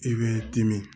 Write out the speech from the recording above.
I b'i dimi